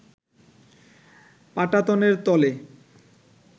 পাটাতনের তলে